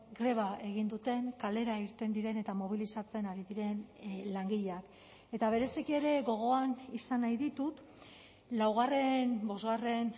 greba egin duten kalera irten diren eta mobilizatzen ari diren langileak eta bereziki ere gogoan izan nahi ditut laugarren bosgarren